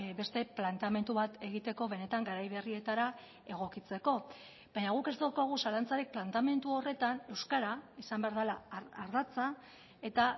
beste planteamendu bat egiteko benetan garai berrietara egokitzeko baina guk ez daukagu zalantzarik planteamendu horretan euskara izan behar dela ardatza eta